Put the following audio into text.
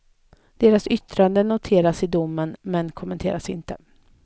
Deras yttranden noteras i domen, men kommenteras inte.